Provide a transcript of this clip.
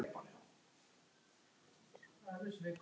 Bara fínt sagði ég.